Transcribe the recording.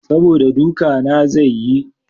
Saboda duka na zai yi.